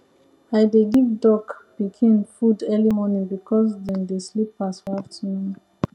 i dey give duck pikin food early morning because dem dey sleep pass for afternoon